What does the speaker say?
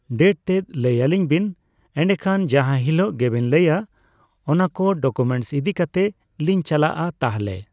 Date ᱛᱮᱜ ᱞᱟᱹᱭ ᱟᱹᱞᱤᱧᱵᱮᱱ ᱮᱱᱰᱮᱠᱷᱟᱱ ᱡᱟᱦᱟ ᱦᱤᱞᱚᱜ ᱜᱮᱵᱮᱱ ᱞᱟᱹᱭᱟ ᱚᱱᱟᱠᱚ ᱰᱚᱠᱳᱢᱮᱱᱥ ᱤᱫᱤ ᱠᱟᱛᱮᱜ ᱞᱤᱧ ᱪᱟᱞᱟᱜᱼᱟ ᱛᱟᱦᱞᱮ ᱾